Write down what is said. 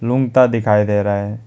Room ता दिखाई दे रहे।